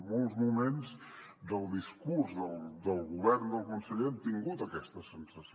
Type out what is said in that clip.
molts moments del discurs del govern del conseller hem tingut aquesta sensació